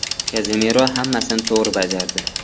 Kazemiro hammasini to‘g‘ri bajardi.